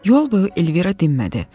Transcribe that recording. Yol boyu Elvira dinmədi.